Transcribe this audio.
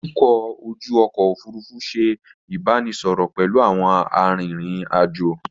Atukọ̀ ojú ọkọ̀ Òfurufú ṣe ìbánisọọ̀rọ̀ pẹ̀lú àwọn arìnrìn-àjò.